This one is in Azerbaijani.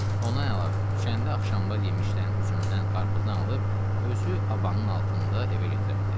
Ondan əlavə düşəndə axşamlar yemişdən, üzümdən, qarpızdan alıb özü abanın altında evə gətirərdi.